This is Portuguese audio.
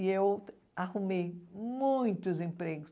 E eu arrumei muitos empregos.